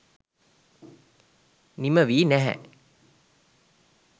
නිම වී නෑහෑ